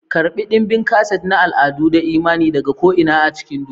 Karɓi ɗimbin kaset na al'adu da imani daga ko'ina cikin duniya.